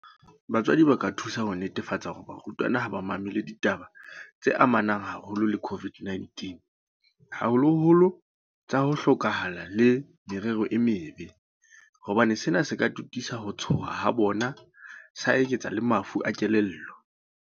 Batswadi ba ka thusa ka ho netefatsa hore barutwana ha ba mamele ditaba tse amanang haholo le COVID-19, haholoholo tsa ho hloka hala le tsa merero e mebe, hobane sena se ka totisa ho tshoha ha bona sa eketsa le mafu a kelello.